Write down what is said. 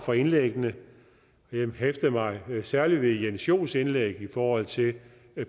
for indlæggene jeg hæftede mig særlig ved jens joels indlæg i forhold til